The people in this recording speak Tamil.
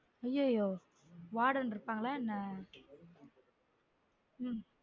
ம் ஐய்யயொ warden இருப்பாங்களா என்ன?